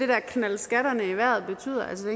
der knalde skatterne i vejret betyder altså